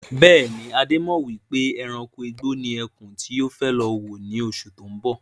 Bẹ́ẹ̀ni, Adé mọ wípé ẹranko igbó ni ẹkún tí ó fẹ́ lọ wò ní oṣù tó ń bọ̀.